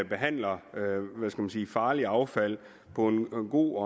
behandler farligt affald på en god